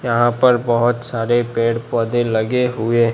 यहां पर बहुत सारे पेड़ पौधे लगे हुए--